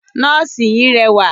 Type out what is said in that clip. Nọ́ọ̀sì yìí rẹwà.